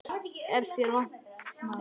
Hvers er þér vant, maður?